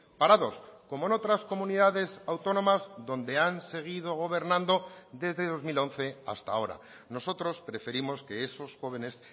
parados como en otras comunidades autónomas donde han seguido gobernando desde dos mil once hasta ahora nosotros preferimos que esos jóvenes